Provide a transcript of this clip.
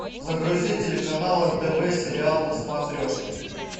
загрузи телеканал нтв сериал на смотрешке